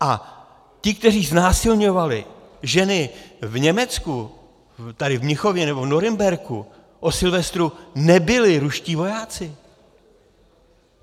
A ti, kteří znásilňovali ženy v Německu, tady v Mnichově nebo v Norimberku, o Silvestru, nebyli ruští vojáci.